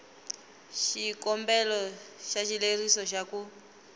xikombelo xa xileriso xa ku